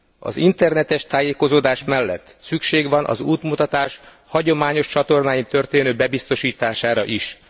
Az internetes tájékozódás mellett szükség van az útmutatás hagyományos csatornákon történő bebiztosítására is.